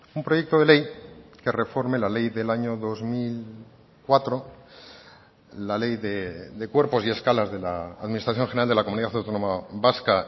un proyecto de ley que reforme la ley del año dos mil cuatro la ley de cuerpos y escalas de la administración general de la comunidad autónoma vasca